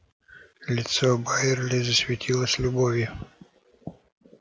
лицо байерли засветилось любовью